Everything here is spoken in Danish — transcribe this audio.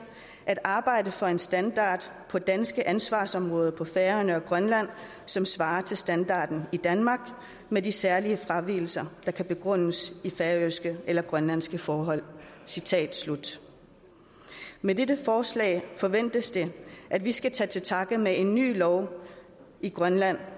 at arbejde for en standard på danske ansvarsområder på færøerne og i grønland som svarer til standarden i danmark med de særlige fravigelser der kan begrundes i færøske eller grønlandske forhold citat slut med dette forslag forventes det at vi skal tage til takke med en ny lov i grønland